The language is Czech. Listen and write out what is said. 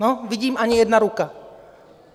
No, vidím, ani jedna ruka.